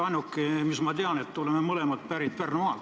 Ainuke, mis ma teist tean, on see, et oleme mõlemad pärit Pärnumaalt.